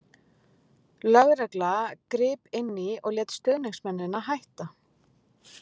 Lögregla grip inní og lét stuðningsmennina hætta.